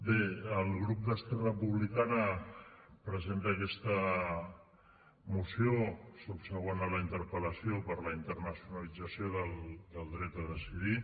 bé el grup d’esquerra republicana presenta aquesta moció subsegüent a la interpel·lació per a la internacionalització del dret a decidir